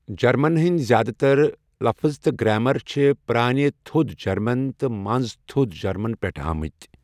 German ہٕنٛدۍ زیٛادٕتَر لَفٕظ تہٕ گرٛامَر چھِ پرٛانہ تھۆد جَرمَن تہٕ مَنٛز تھۆد جَرمَن پؠٹھٕ آمٕتؠ۔